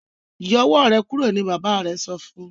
Yọ owó rẹ kúrò ní bàbá rẹ sọfún.